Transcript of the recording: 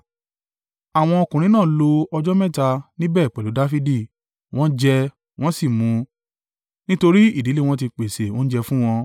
Àwọn ọkùnrin náà lo ọjọ́ mẹ́ta níbẹ̀ pẹ̀lú Dafidi, wọ́n jẹ, wọ́n sì ń mu, nítorí ìdílé wọn ti pèsè oúnjẹ fún wọn.